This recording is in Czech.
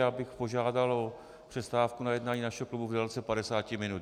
Já bych požádal o přestávku na jednání našeho klubu v délce 50 minut.